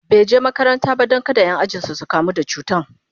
bai je makaranta ba Dan kada Ƴan ajinsu su kamu da cutan